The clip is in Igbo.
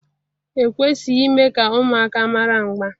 e kwesịghị ime ka ụmụaka mara mgba